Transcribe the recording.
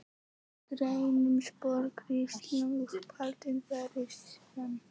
Grænn sport kristall Uppáhalds vefsíða?